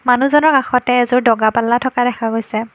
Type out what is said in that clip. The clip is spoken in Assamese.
মানুহজনৰ কাষতে এযোৰ দগা পাল্লা থকা দেখা গৈছে।